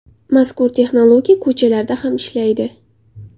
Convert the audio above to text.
Mazkur texnologiya ko‘chalarda ham ishlaydi.